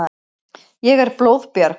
Ég er blóðbjörg.